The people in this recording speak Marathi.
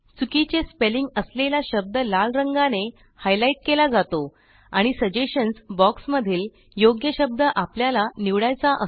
चुकीचे स्पेलिंग असलेल्या शब्द लाल रंगाने हायलाईट केला जातो आणि सजेशन्स या बॉक्समध्ये योग्य शब्दासाठी अनेक शब्द दिले जातात